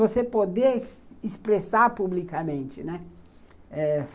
Você poder expressar publicamente, né?